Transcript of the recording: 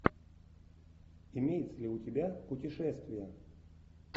имеется ли у тебя путешествия